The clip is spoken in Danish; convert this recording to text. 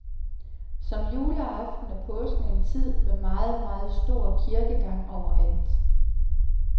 Som juleaften er påsken en tid med meget, meget stor kirkegang overalt.